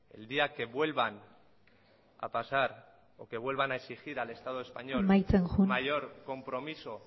el día que vuelvan a pasar o que vuelvan a exigir al estado español amaitzen joan mayor compromiso